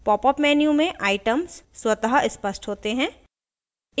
popup menu में items स्वतः स्पष्ट होते हैं